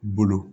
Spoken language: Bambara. Bolo